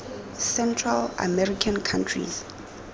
central american countries